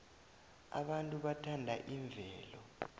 abantu bathanda imvelo